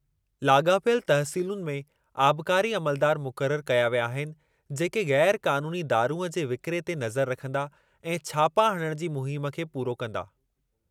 लाॻापियल तहसीलुनि में आबकारी अमलदारु मुक़र्रर कया विया अहिनि, जेके ग़ैर क़ानूनी दारूंअ जे विकिरे ते नज़र रखंदा ऐं छापा हणणु जी मुहिम खे पूरो कंदा।